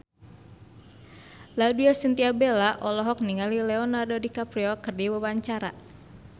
Laudya Chintya Bella olohok ningali Leonardo DiCaprio keur diwawancara